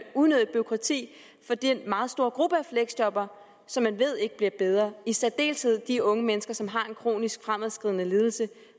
unødigt bureaukrati for den meget store gruppe af fleksjobbere som man ved ikke får det bedre i særdeleshed de unge mennesker som har en kronisk fremadskridende lidelse